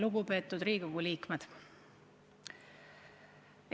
Lugupeetud Riigikogu liikmed!